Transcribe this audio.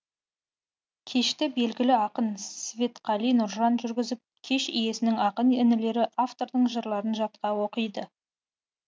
кешті белгілі ақын светқали нұржан жүргізіп кеш иесінің ақын інілері автордың жырларын жатқа оқиды